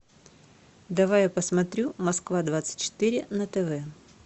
давай я посмотрю москва двадцать четыре на тв